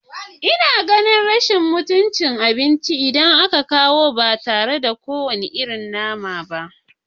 Ina ganin rashin mutunci, idan aka kawo abinci ba tare da kowane irin nama ba